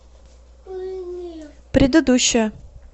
предыдущая